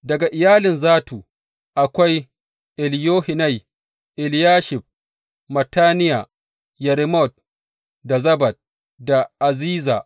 Daga iyalin Zattu, akwai Eliyohenai, Eliyashib, Mattaniya Yeremot da Zabad da Aziza.